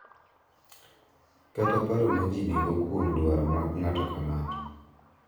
Kata paro ma ji nigo kuom dwaro mag ng’ato ka ng’ato.